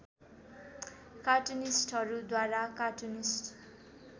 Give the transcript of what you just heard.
कार्टुनिस्टहरूद्वारा cartoonist